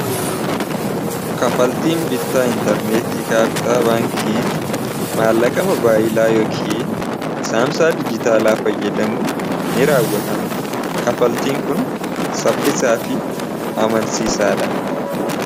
kafaltiin bittaa intarneetii kaartaa baankii maallaqama baayilaa yookin saamsaa dijjitaalaa fayyadamu n raawwatama kafaltiin kun saffisaa fi amansiisaadha